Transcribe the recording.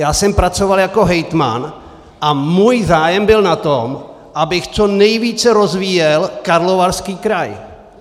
Já jsem pracoval jako hejtman a můj zájem byl na tom, abych co nejvíce rozvíjel Karlovarský kraj.